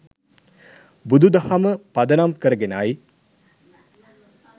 බුදු දහම පදනම් කරගෙනයි.